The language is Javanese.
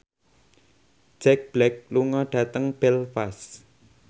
Jack Black lunga dhateng Belfast